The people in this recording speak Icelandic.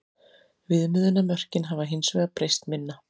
Viðmiðunarmörkin hafa hins vegar breyst minna.